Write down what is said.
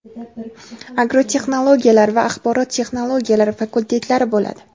agrotexnologiyalar va axborot texnologiyalari fakultetlari bo‘ladi.